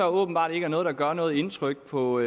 åbenbart ikke er noget der gør noget indtryk på